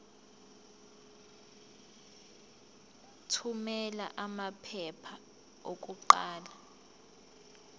thumela amaphepha okuqala